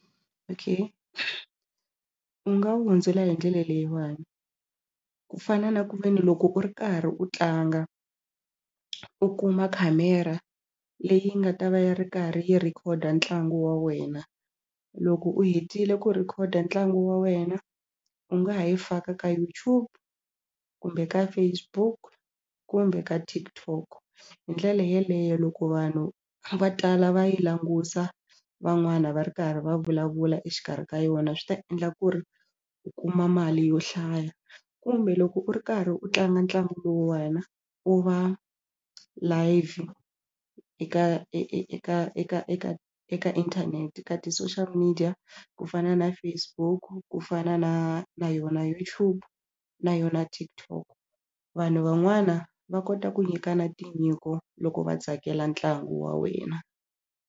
Okay u nga wu hundzula hi ndlela leyiwani ku fana na ku ve ni loko u ri karhi u tlanga u kuma khamera leyi nga ta va yi ri karhi yi rhekhoda ntlangu wa wena. Loko u hetile ku rhikhoda ntlangu wa wena u nga ha yi faka ka YouTube kumbe ka Facebook kumbe ka TikTok hi ndlela yeleyo loko vanhu va tala va yi languta van'wana va ri karhi va vulavula exikarhi ka yona swi ta endla ku ri u kuma mali yo hlaya kumbe loko u ri karhi u tlanga ntlangu lowu wena u va live eka eka eka eka eka inthanete ka ti-social media ku fana na Facebook ku fana na na yona YouTube na yona TikTok vanhu van'wana va kota ku nyika na tinyiko loko va tsakela ntlangu wa wena.